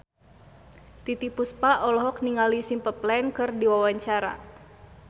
Titiek Puspa olohok ningali Simple Plan keur diwawancara